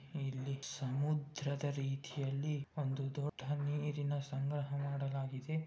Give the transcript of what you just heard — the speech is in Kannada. ಇಲ್ಲಿ ಸಮುದ್ರದ ರೀತಿಯಲ್ಲಿ ನೀರನ್ನು ಸಂಗ್ರಹ ಮಾಡಲಾಗಿದೆ.